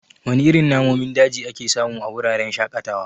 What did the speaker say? Wana irin namomin daji ake samu a wuraren shaƙatawa?